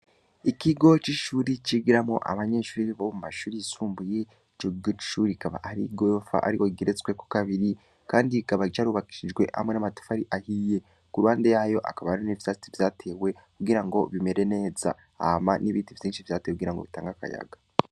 Ikigo c' ishure cigiramwo abanyeshure bo mu mashure yisumbuye. Ico kigo c' ishure ikaba ari igorofa ariko igeretswe ko kabiri kandi ikaba yubakishijwe hamwe n' amatafari ahiye. Ku ruhande y'ayo hakaba hari n' ivyatsi vyatewe kugira bimere neza. Hama hari ibiti vyatewe kugira bitange akayaga.